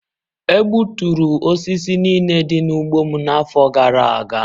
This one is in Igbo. E gbuturu osisi niile dị n'ugbo m n'afọ gara aga.